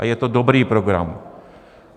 A je to dobrý program.